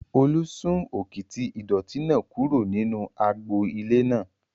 Olú sún òkìtì ìdọ̀ọ̀tí náà kúrò nínú agbo ilé náà